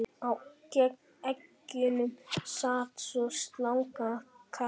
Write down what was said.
Á eggjunum sat svo slanga eða karta.